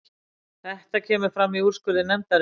Þetta kemur fram í úrskurði nefndarinnar